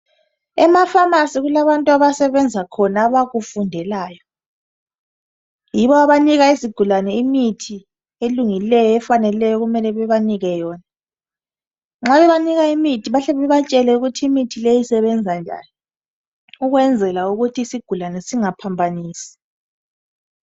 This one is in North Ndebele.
Ema"pharmacy" kulabantu abasebenza khona abakufundelayo. Yibo abanika izigulane imithi elungileyo efaneleyo okumele bebanike yona. Nxa bebanika imithi bahle bebatshele ukuthi imithi leyi isebenza njani ukwenzela ukuthi isigulane singaphambanisi.